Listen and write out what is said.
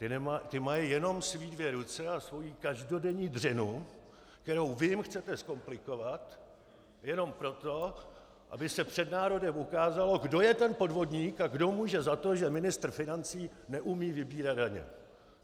Ti mají jenom své dvě ruce a svoji každodenní dřinu, kterou vy jim chcete zkomplikovat jenom proto, aby se před národem ukázalo, kdo je ten podvodník a kdo může za to, že ministr financí neumí vybírat daně.